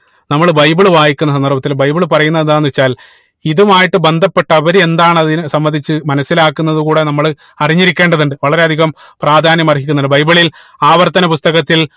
നമ്മള് ബൈബിൾ വായിക്കുന്ന സന്ദർഭത്തിൽ ബൈബിളിൽ പറയുന്നത് എന്താണെന്ന് വെച്ചാൽ ഇതുമായിട്ട് ബന്ധപ്പെട്ട് അവര് എന്താണ് അതിനെ സംബന്ധിച്ച് മനസിലാക്കുന്നത് കൂടെ നമ്മള് അറിഞ്ഞിരിക്കേണ്ടതുണ്ട് വളരെ അധികം പ്രാധാന്യം അർഹിക്കുന്നുണ്ട് ബൈബിളിലിൽ ആവർത്തന പുസ്തകത്തിൽ